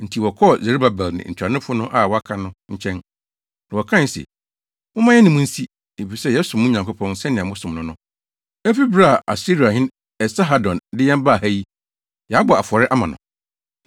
Enti wɔkɔɔ Serubabel ne ntuanofo no a wɔaka no nkyɛn, na wɔkae se, “Momma yɛne mo nsi, efisɛ yɛsom mo Nyankopɔn sɛnea mosom no no. Efi bere a Asiriahene Esarhadon de yɛn baa ha yi, yɛabɔ afɔre ama no.”